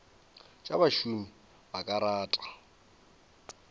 tša bašomi ba ka rata